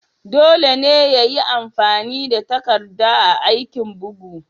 Dole ne ayi amfani da takarda a aikin bugu.